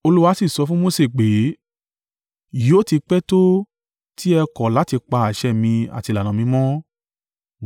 Olúwa sì sọ fún Mose pé, “Yóò ti pẹ́ tó ti ẹ ó kọ̀ láti pa àṣẹ mi àti ìlànà mi mọ́?